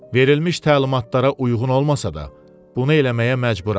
Verilmiş təlimatlara uyğun olmasa da, bunu eləməyə məcburam.